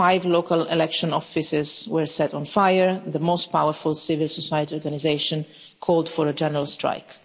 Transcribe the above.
Five local election offices were set on fire and the most powerful civil society organisation called for a general strike.